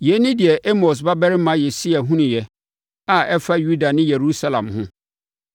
Yei ne deɛ Amos babarima Yesaia hunuiɛ, a ɛfa Yuda ne Yerusalem ho.